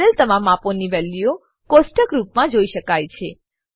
કરેલ તમામ માપોની વેલ્યુઓ કોષ્ઠક રૂપમાં જોઈ શકાય છે